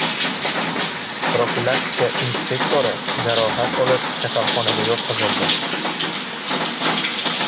Profilaktika inspektori jarohat olib, kasalxonaga yotqizildi.